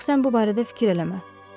Ancaq sən bu barədə fikir eləmə.